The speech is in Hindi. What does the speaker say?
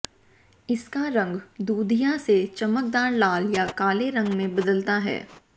इसका रंग दूधिया से चमकदार लाल या काले रंग में बदलता है